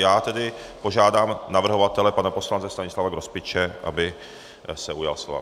Já tedy požádám navrhovatele pana poslance Stanislava Grospiče, aby se ujal slova.